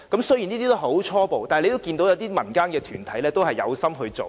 雖然這些是很初步的構思，但可見民間團體有心做。